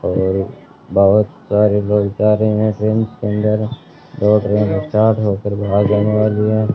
और बहोत सारे लोग जा रहे हैं ट्रेन के अंदर दो ट्रेन चार्ट होकर बाहर जाने वाली है।